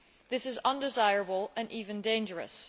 This is undesirable and even dangerous.